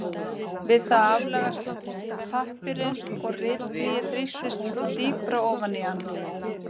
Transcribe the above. Við það aflagast pappírinn og ritblýið þrýstist dýpra ofan í hann.